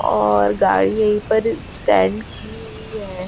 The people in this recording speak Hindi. और गाड़ी यहीं पर स्टैंड की हुई है।